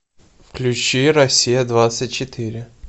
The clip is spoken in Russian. включи россия двадцать четыре